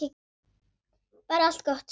Bara allt gott, sagði mamma.